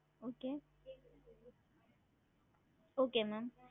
Okay okay ma'am